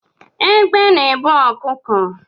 Egbe na ebu ọkụkọ